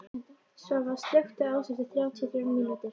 Svava, slökktu á þessu eftir þrjátíu og þrjár mínútur.